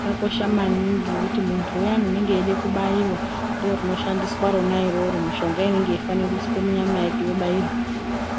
zvakosha maningi ngekuti munthu uyani unonga echide kubaiwa ndo rinoshandiswa rona iroro ngikuthi mishonga inonga yeifanire kuiswe munyama yake yokubairwa.